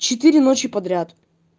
четыре ночи подряд